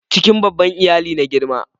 cikin babban iyali na girma